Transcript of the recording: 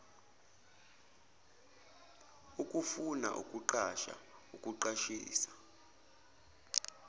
ukufuna ukuqasha ukuqashisa